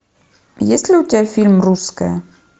есть ли у тебя фильм русская